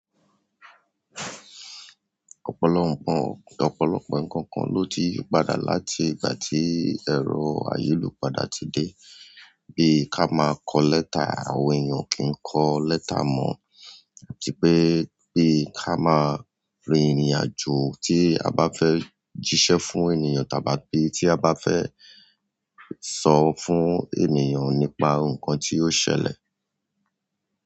Ọ̀pọ̀lọpọ̀ ǹkankan ló ti padà láti ìgbà tí ẹ̀rọ ayélu padà ti dé. Bíi ká máa kọ lẹ́tà, àwọn èèyàn o kì n kọ lẹ́tà mọ̀, típé bi ká máa rin ìrìnàjò tí a bá fẹ́ jíṣẹ́ fún ènìyàn tàbí tí a bá fẹ́ sọ fún ènìyàn nípa ǹkan tí ó ṣẹlẹ̀.